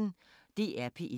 DR P1